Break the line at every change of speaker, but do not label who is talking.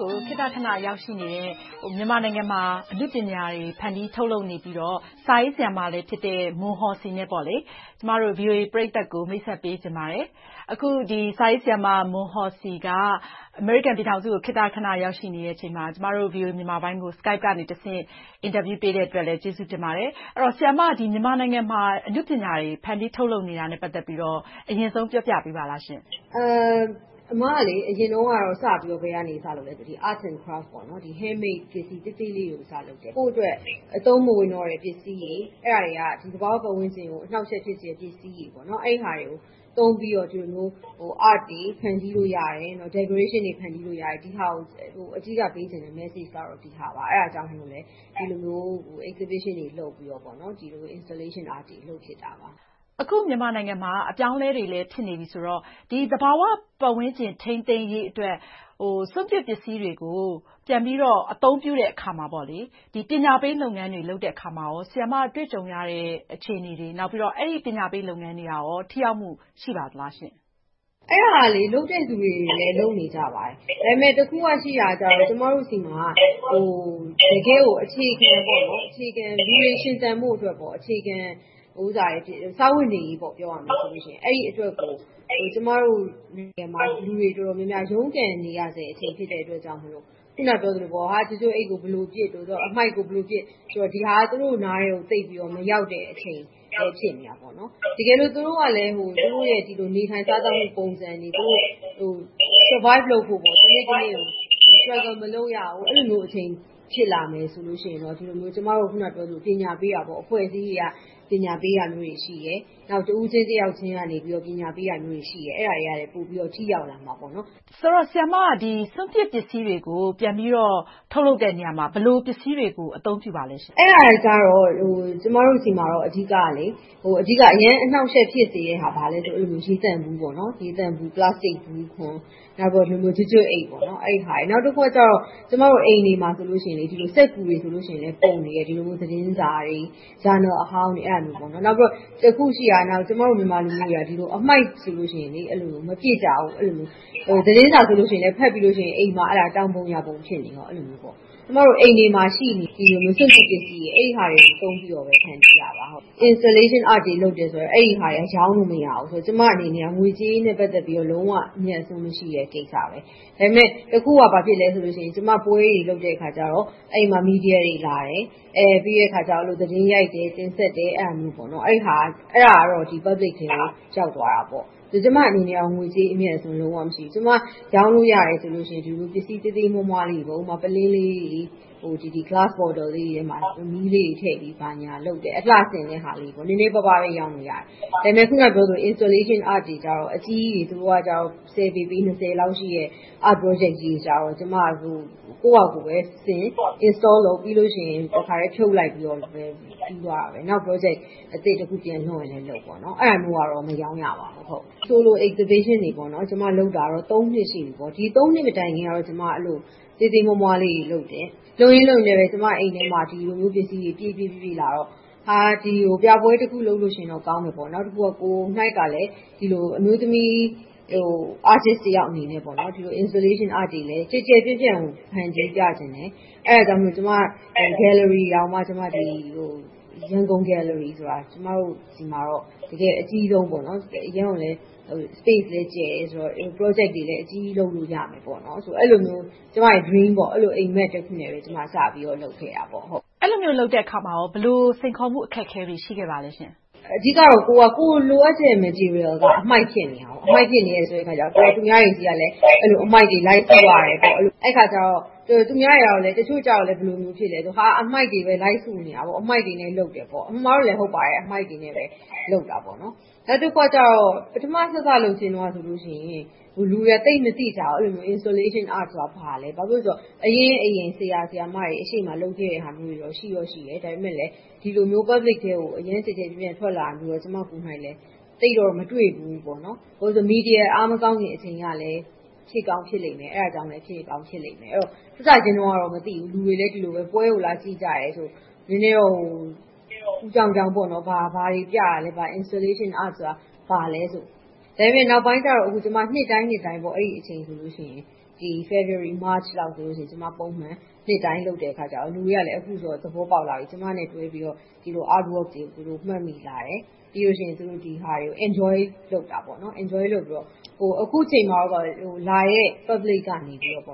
ကို ခေတ္တခဏ ရောက်ရှိနေတဲ့ မြန်မာနိုင်ငံမှာ အနုပညာတွေ ဖန်တီးထုတ်လုပ်နေပြီးတော့ စာရေးဆရာမတဦးလည်းဖြစ်တဲ့ မွန်ဟော်စီနဲ့ VOA ပရိသတ်ကို မိတ်ဆက်ပေးချင်ပါတယ်။ အခု စာရေးဆရာမ မွန်ဟော်စီ က အမေရိကန်ပြည်ထောင်စုကို ခေတ္တခဏ ရောက်ရှိချိန်မှာ ကျမတို့ VOA မြန်မာပိုင်းကို Skype ကတဆင့် အင်တာဗျူး ပေးတဲ့အတွက်လည်း ကျေးဇူးတင်ပါတယ်။ ဆရာမ မြန်မာနိုင်ငံမှာ အနုပညာတွေ ဖန်တီးထုတ်လုပ်နေတာနဲ့ ပတ်သက်ပြီးတော့ အရင်ဆုံး ပြောပြပေးပါလားရှင့်။
အမ အရင်တုန်းကတော့ စပြီးတော့ Arts and Crafts Handmades ပစ္စည်းတွေ ကိုယ့်အတွက် အသုံးမဝင်တော့တဲ့ ပစ္စည်းတွေက သဘာဝပတ်ဝန်းကျင်ကို အနှောင့်အယှက် ဖြစ်စေတဲ့ ပစ္စည်းတွေ။ အဲဒါတွေကို သုံးပြီး Art တွေ ဖန်တီးလို့ရတယ်။ Decoration တွေ ဖန်တီးလို့ရတယ်။ ဒီဟာကို အဓိက message ပေးချင်တယ်။ အဲဒါကိုလဲ ဒီလိုမျိုး Exhibition တွေလုပ်ပြီးတော့ ဒီလို Installation Arts တွေ လုပ်ဖြစ်တာပါ။
အခု မြန်မာနိုင်ငံမှာ အပြောင်းအလဲတွေလည်း ဖြစ်နေပြီဆိုတော့ သဘာဝပတ်ဝန်းကျင် ထိန်းသိမ်းရေးအတွက် စွန့်ပစ်ပစ္စည်းတွေကို ပြန်ပြီးတော့ အသုံးပြုတဲ့အခါမှာ ပညာပေးလုပ်ငန်းတွေ လုပ်တဲ့အခါမှာ ဆရာမ တွေ့ကြုံရတဲ့ အခြေအနေတွေ၊ နောက်ပြီးတော့ အဲဒီ ပညာပေးလုပ်ငန်းတွေက ထိရောက်မှု ရှိပါသလားရှင့်။
အဲဒါ လုပ်တဲ့လူတွေလည်း လုပ်နေကြပါတယ်။ ဒါပေမဲ့ တခုကရှိတာက ကျမတို့ဆီမှာ တကယ့်ကို လူတွေ ရှင်သန်ဖို့အတွက် အခြေခံစားဝတ်နေရေးအတွက်ကို လူတွေတော်တော်များများ ရုန်းကန်နေရဆဲအချိန် ဖြစ်တဲ့အတွက်ကြောင့် အခုနပြောသလို ကျွပ်ကျွပ်အိတ်ကို ဘယ်လိုပစ်၊ အမှိုက်ကို ဘယ်လိုပစ် ဒီတာတွေ သူတို့နားထဲကို မရောက်တဲ့အချိန် ဖြစ်နေသေးတယ်။ တကယ်လို့ သူတို့ကလဲ သူတို့ရဲ့ နေထိုင်စားသောက်မှု ပုံစံတွေ Survive လုပ်ဖို့ တနေ့တနေ့ကို Struggle မလုပ်ရဘူး အဲဒီလိုမျိုး အခြေအနေ ဖြစ်လာမယ်ဆိုရင်တော့ အခုနပြောသလို ပညာပေးတာမျိုးတွေ အဖွဲ့အစည်းတွေကရှိတယ်။ တဦးချင်းတယောက်ချင်းက ပညာပေးတာရှိတယ်။ အဲဒါတွေကလဲ ထိရောက်လာမှာပေါ့။
ဆိုတော့ ဆရာမက စွန့်ပစ်ပစ္စည်းတွေကို ပြန်ပြီးတော့ ထုတ်လုပ်တဲ့နေရာမှာ ဘယ်လို ပစ္စည်းတွေကို အသုံးပြုပါလဲရှင့်။
အဲဒါကတော့ ကျမတို့ဆီမှာတော့ အဓိက အရမ်းအနှောင့်အယှက် ဖြစ်စေတဲ့ဟာ ဘာလဲဆိုတော့ ရေသန့်ဘူး။ ပလက်စတစ်ဘူးခွံ၊ ကျွပ်ကျွပ်အိတ်။ နောက်တခါ အိမ်တွေမှာဆိုရင် စက္ကူတွေ၊ သတင်းစာတွေ၊ ဂျာနယ်အဟောင်းတွေ။ နောက်တခါ တခုရှိတာက ကျမတို့လူမျိုးတွေက အမှိုက်ဆိုရင် မပစ်ကြဘူး။ သတင်းစာဆိုရင်လဲ အိမ်မှာ တောင်ပုံယာပုံ ဖြစ်နေတယ်။ အိမ်တွေမှာ ရှိနေတဲ့ စွန့်ပစ်ပစ္စည်းတွေကို သုံးပြီးတော့ ဖန်တီးတာပါ။ Installation Arts တွေ လုပ်တယ်ဆိုတာ အဲဒါတွေက ရောင်းလို့မရဘူးဆိုတော့ ကျမအနေနဲ့ ငွေကြေးနဲ့ ပတ်သက်လို့ လုံးဝအမြတ်အစွန်းမရှိတဲ့ ကိစ္စ။ ဒါပေမဲ့ တခုက ဘာဖြစ်လဲဆိုတော့ ကျမ ပွဲတွေ လုပ်တဲ့အခါကြတော့ အဲဒီမှာ မီဒီယာတွေလာတယ်။ ပြီးတော့ သတင်းရိုက်တယ်။ တင်ဆက်တယ်။ အဲဒါကတော့ Public ကို ရောက်သွားတာပေါ့။ ကျမအနေနဲ့ ငွေကြေးအမြတ်အစွန်း လုံးဝမရှိဘူး။ ကျမ ရောင်းလို့ရတယ်ဆိုရင် ဒီလိုမျိုး ပစ္စည်းအသေးအမွှားလေးတွေ ဥပမာ ပုလင်းလေးတွေ၊ Glass bottle လေးတွေထဲမှာ မီးလေးတွေ ဘာညာထည့်ပြီး လုပ်တယ်။ အလှဆင်တဲ့ဟာလေးတွေ နည်းနည်းပါးပါးပဲ ရောင်းလို့ရတယ်။ အခုနပြောသလို Installation Arts တွေကြတော့ အကြီးကြီးတွေ ပေ၊ ပေ လောက်ရှိတဲ့ Art Project တွေကြတော့ ကိုယ့်ဘာသာကိုယ်ပဲဆင် Install လုပ်၊ ပြီးတော့ တခါတည်း ဖြုတ်လိုက်ပြီး ပြီးဆုံးသွားတာပဲ။ နောက် Project အသစ်တခု ပြန်လုပ်ရင်လဲလုပ်ပေါ့။ အဲဒီလိုမျိုးကတော့ မရောင်းရပါဘူး။ Sole exhibition တွေ ကျမ လုပ်တာကတော့ နှစ်ရှိပြီ။ ဒီ နှစ် မတိုင်ခင်ကတော့ သေးသေးမွှားမွှားလေးတွေ လုပ်တယ်။ လုပ်ရင်လုပ်ရင်နဲ့ ကျမအိမ်ထဲမှာ ပစ္စည်းတွေ ပြည့်ပြည့်လာတော့ ပြပွဲတခုခုလုပ်ရင်တော့ပေါ့။ နောက်တခုက ကိုယ်တိုင်လည်း ဒီလိုအမျိုးသမီး Artist တယောက်အနေနဲ့ Installation Arts တွေလည်း ကျယ်ကျယ်ပြန့်ပြန့် ဖန်တီးပြချင်တယ်။ အဲဒါကြောင့် ကျမ Gallery တောင်မှ ရန်ကုန် Gallery ကျမတို့ဆီမှာတော့ တကယ့် အကြီးဆုံး အရမ်းကိုလဲ Space လည်း ကျယ်တယ်ဆိုတော့ Project တွေလည်း အကြီးကြီးလုပ်လို့ရမယ်ဆိုပြီး အဲဒီလိုမျိုး ကျမရဲ့ Dream အိပ်မက်တခုအနေနဲ့ စလုပ်ခဲ့တာပေါ့။
အဲဒီလိုမျိုး လုပ်တဲ့အခါမှာ ဘယ်လို စိန်ခေါ်မှု အခက်အခဲတွေ ရှိခဲ့ပါလဲရှင့်။
အဓိကတော့ ကိုယ်လိုအပ်ချက်တွေကိုကြည့်တော့ အမှိုက်ဖြစ်နေတယ်။ အမှိုက်ဖြစ်နေတော့ သူများတွေဆီက အမှိုက်တွေ လိုက်စုရတယ်။ အဲဒီအခါကြတော့ တချို့တွေက ဘယ်လိုမျိုး ဖြစ်လဲဆိုတော့ အမှိုက်တွေပဲ လိုက်စုနေတာ၊ အမှိုက်တွေနဲ့ လုပ်တယ်ပေါ့။ အမှန်မှာတော့လဲ ဟုတ်ပါတယ် အမှိုက်တွေနဲ့ လုပ်တာပါ။ နောက်တခုကြတော့ ပထမ လုပ်လုပ်ချင်းမှာ လူတွေက သိပ်မသိကြဘူး။ Instllation Arts ဆိုတာ ဘာလဲ။ အရင့်အရင် ဆရာ၊ ဆရာမတွေ ရှေ့မှာလုပ်ခဲ့တာတွေ ရှိတယ်။ ဒါပေမဲ့ ဒီလိုမျိုး Public ထဲကို ကျယ်ကျယ်ပြန့်ပြန့် ထွက်လာတာကို သိပ်တော့ မတွေ့ဖူးဘူး။ ဘာဖြစ်လို့လဲဆိုတော့ မီဒီယာ အားမကောင်းခင်ကလဲ အဲဒါကြောင့်လဲ ဖြစ်ကောင်းဖြစ်လိမ့်မယ်။ စစချင်းကတော့ မသိဘူး။ လူတွေလည်း ပွဲကိုလာကြည့်ကြတယ်။ နည်းနည်းတော့ အူကြောင်ကြောင်ပေါ့။ ဘာတွေပြတာလဲ။ Installation Arts ဆိုတာ ဘာလဲ။ နောက်ပိုင်းကြတော့ ကျမ နှစ်တိုင်းနှစ်တိုင်း အဲဒီအချိန်ဆိုရင် February, March ဆိုရင် ကျမ နှစ်တိုင်းလုပ်တဲ့အခါကြတော့ လူတွေက အခုဆိုရင် သဘောပေါက်လာပြီ။ ကျမနဲ့တွဲပြီးတော့ ဒီလို Art work တွေကို မှတ်မိလာတယ်။ ပြီးတော့ ဒီဟာတွေကို Enjoy လုပ်ပြီးတော့ အခုအချိန်မှာ လာတဲ့ Public ကနေ သူတို့ သ